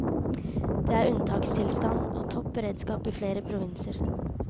Det er unntakstilstand og topp beredskap i flere provinser.